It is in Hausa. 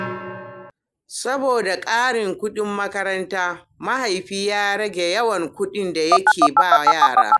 Saboda karin kuɗin makaranta, mahaifi ya rage yawan kuɗin da yake ba yara.